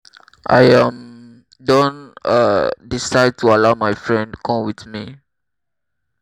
i um don um decide to allow my friend come with me